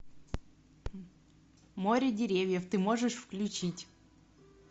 море деревьев ты можешь включить